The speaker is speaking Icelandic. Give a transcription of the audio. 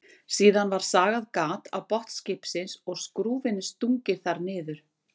Síðan var sagað gat á botn skipsins og skrúfunni stungið þar niður.